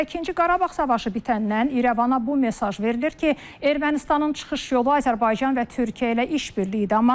Hələ ikinci Qarabağ savaşı bitəndən İrəvana bu mesaj verilir ki, Ermənistanın çıxış yolu Azərbaycan və Türkiyə ilə iş birliyidir.